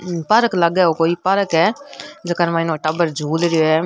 Park लागे है कोई पार्क है जेकर माई नो टाबर झूल रिया है।